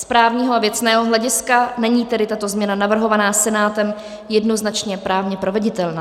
Z právního a věcného hlediska není tedy tato změna navrhovaná Senátem jednoznačně právně proveditelná.